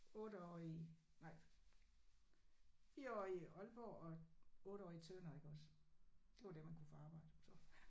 8 år i nej 9 år i Aalborg og 8 år i Tønder iggås. Det var der man kunne få arbejde så